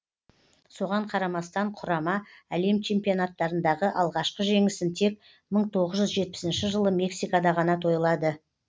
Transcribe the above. соған қарамастан құрама әлем чемпионаттарындағы алғашқы жеңісін тек мың тоғыз жүз жетпісінші жылы мексикада ғана тойлады